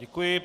Děkuji.